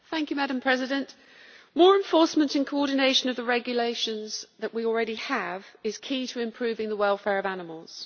Madam President, more enforcement in coordination of the regulations that we already have is key to improving the welfare of animals.